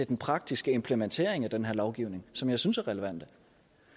den praktiske implementering af den her lovgivning som jeg synes er relevante